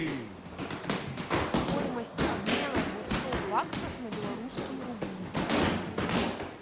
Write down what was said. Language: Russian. стоимость обмена двухсот баксов на белорусские рубли